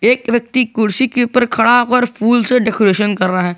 एक व्यक्ति कुर्सी के ऊपर खड़ा होकर फूल से डेकोरेशन कर रहा है।